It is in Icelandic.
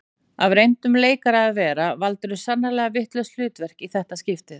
Af reyndum leikara að vera valdirðu sannarlega vitlaust hlutverk í þetta skiptið